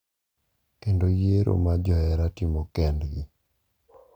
kendo yiero ma johera timo kendgi.